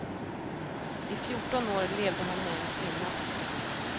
I fjorton år levde han med en kvinna.